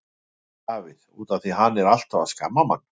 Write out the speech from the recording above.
Davíð: Út af því að hann er alltaf að skamma mann.